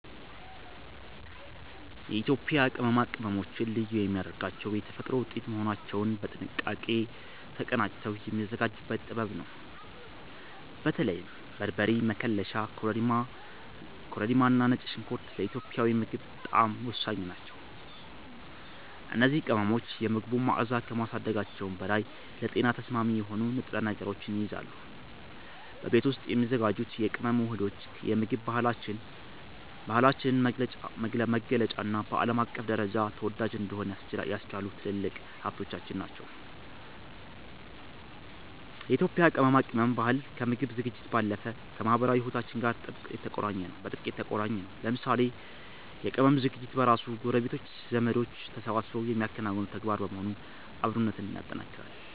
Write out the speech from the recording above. የኢትዮጵያ ቅመማ ቅመሞችን ልዩ የሚያደርጋቸው የተፈጥሮ ውጤት መሆናቸውና በጥንቃቄ ተቀናጅተው የሚዘጋጁበት ጥበብ ነው። በተለይም በርበሬ፣ መከለሻ፣ ኮረሪማና ነጭ ሽንኩርት ለኢትዮጵያዊ ምግብ ጣዕም ወሳኝ ናቸው። እነዚህ ቅመሞች የምግቡን መዓዛ ከማሳደጋቸውም በላይ ለጤና ተስማሚ የሆኑ ንጥረ ነገሮችን ይይዛሉ። በቤት ውስጥ የሚዘጋጁት የቅመም ውህዶች የምግብ ባህላችንን መገለጫና በዓለም አቀፍ ደረጃ ተወዳጅ እንዲሆን ያስቻሉ ትልልቅ ሀብቶቻችን ናቸው። የኢትዮጵያ የቅመማ ቅመም ባህል ከምግብ ዝግጅት ባለፈ ከማኅበራዊ ሕይወታችን ጋር በጥብቅ የተቆራኘ ነው። ለምሳሌ የቅመም ዝግጅት በራሱ ጎረቤቶችና ዘመዶች ተሰባስበው የሚያከናውኑት ተግባር በመሆኑ አብሮነትን ያጠናክራል።